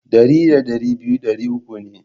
Dari da dari biyu dari uku ne.